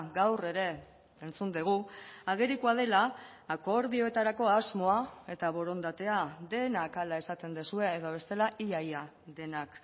gaur ere entzun dugu agerikoa dela akordioetarako asmoa eta borondatea denak hala esaten duzue edo bestela ia ia denak